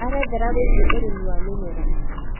erethera wĩĩgie ũrĩmi wa mĩmera